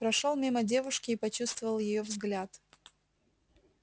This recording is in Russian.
прошёл мимо девушки и почувствовал её взгляд